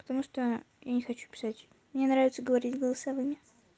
потому что я не хочу писать мне нравится говорить голосовыми